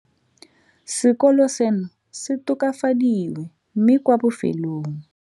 Sekolo seno se tokafadiwe mme kwa bofelong.